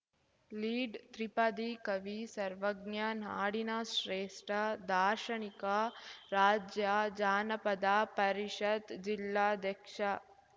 lead ತ್ರಿಪದಿ ಕವಿ ಸರ್ವಜ್ಞ ನಾಡಿನ ಶ್ರೇಷ್ಠ ದಾರ್ಶನಿಕ ರಾಜ್ಯ ಜಾನಪದ ಪರಿಷತ್‌ ಜಿಲ್ಲಾಧ್ಯಕ್ಷ